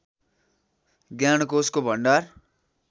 ज्ञानकोशको भण्डार